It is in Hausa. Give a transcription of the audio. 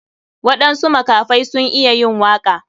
Waɗansu makafai sun iya yin waka.